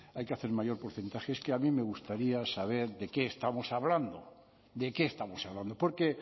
hay que hacer un mayor porcentaje es que a mí me gustaría saber de qué estamos hablando de qué estamos hablando porque